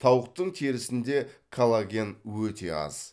тауықтың терісінде коллаген өте аз